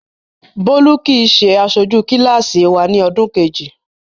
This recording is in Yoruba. Bólú kì í ṣe aṣojú kíláàsì wa ní ọdún kejì.